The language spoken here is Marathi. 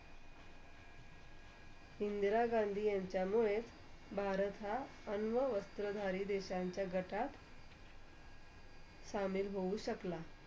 इंदिरा गांधी यांच्यामुळे. भारत हा, अंमवस्त्रा देशांच्या घटात शमिळ हो शकला.